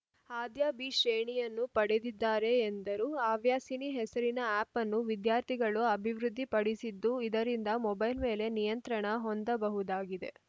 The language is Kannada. ಆದ್ಯಾ ಬಿ ಶ್ರೇಣಿಯನ್ನು ಪಡೆದಿದ್ದಾರೆ ಎಂದರು ಅವ್ಯಾಸಿನಿ ಹೆಸರಿನ ಆ್ಯಪ್‌ನ್ನು ವಿದ್ಯಾರ್ಥಿಗಳು ಅಭಿವೃದ್ಧಿಪಡಿಸಿದ್ದು ಇದರಿಂದ ಮೊಬೖಲ್‌ ಮೇಲೆ ನಿಯಂತ್ರಣ ಹೊಂದಬಹುದಾಗಿದೆ